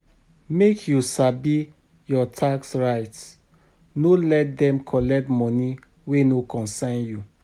Make you sabi your tax rights, no let dem collect money wey no concern you.